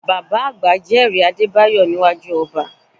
Bàbá àgbà jẹ́rìí Adébáyọ̀ níwájú ọba